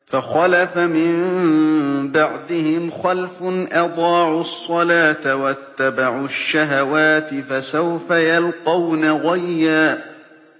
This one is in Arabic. ۞ فَخَلَفَ مِن بَعْدِهِمْ خَلْفٌ أَضَاعُوا الصَّلَاةَ وَاتَّبَعُوا الشَّهَوَاتِ ۖ فَسَوْفَ يَلْقَوْنَ غَيًّا